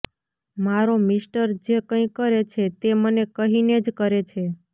મારો મિસ્ટર જે કંઈ કરે છે તે મને કહીને જ કરે છે